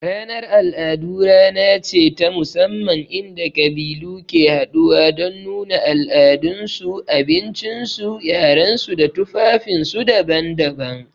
Ranar al'adu rana ce ta musamman inda ƙabilu ke haɗuwa don nuna al'adunsu, abinci, yarensu da tufafinsu daban-daban.